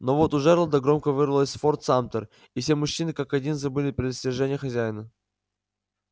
но вот у джералда громко вырвалось форт самтер и все мужчины как один забыли предостережения хозяина